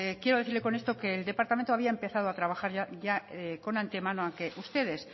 quiero decirle con esto que el departamento había empezado a trabajar ya con antemano aunque ustedes